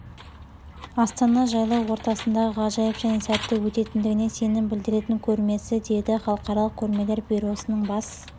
астана жайлау ортасындағы ғажайып және сәтті өтетіндігіне сенім білдіретін көрмесі деді халықаралық көрмелер бюросының бас